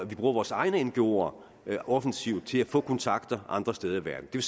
vi bruger vores egne ngoer offensivt til at få kontakter andre steder i verden det